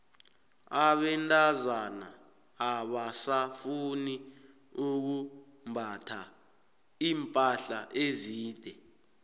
abentazana abasafuni ukumbatha iimpahla ezide